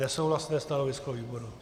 Nesouhlasné stanovisko výboru.